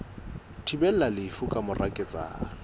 thibelang lefu ka mora ketsahalo